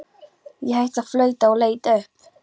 Ég hætti að flauta og leit upp.